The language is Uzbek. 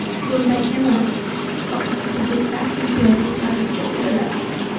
Bunday emas, faqat kreditlar imtiyozli tarzda beriladi.